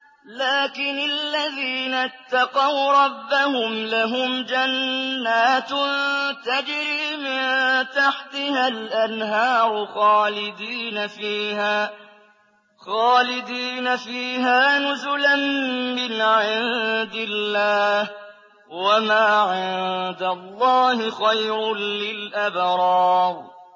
لَٰكِنِ الَّذِينَ اتَّقَوْا رَبَّهُمْ لَهُمْ جَنَّاتٌ تَجْرِي مِن تَحْتِهَا الْأَنْهَارُ خَالِدِينَ فِيهَا نُزُلًا مِّنْ عِندِ اللَّهِ ۗ وَمَا عِندَ اللَّهِ خَيْرٌ لِّلْأَبْرَارِ